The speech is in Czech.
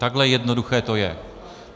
Takhle jednoduché to je.